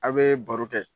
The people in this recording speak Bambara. A' bee baro kɛ